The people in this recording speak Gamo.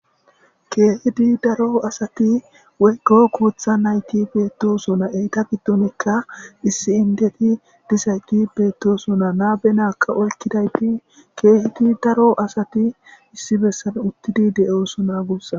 keehidi daro asati weyko kuutha nayti beettosona eyta giddonikka issi indeti disayki beettosona naabe naakka olkidayti keehidi daro asati issi bessan uttidi de7oosona gussan